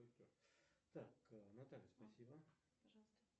джой баланс карты альфа банк